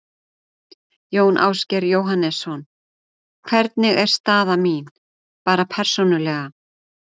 Jón Ásgeir Jóhannesson: Hvernig er staða mín, bara persónulega?